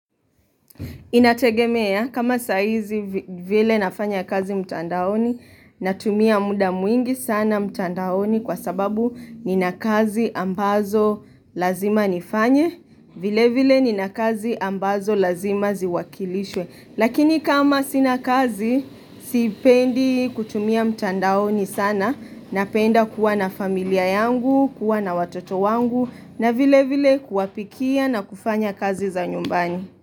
Inategemea kama saa hizi vile nafanya kazi mtandaoni na tumia muda mwingi sana mtandaoni kwa sababu nina kazi ambazo lazima nifanye vile vile nina kazi ambazo lazima ziwakilishwe. Lakini kama sina kazi sipendi kutumia mtandaoni sana napenda kuwa na familia yangu, kuwa na watoto wangu na vile vile kuwapikia na kufanya kazi za nyumbani.